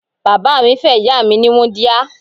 Bàbá mi fẹ́ ìyá mi ní wúńdíá.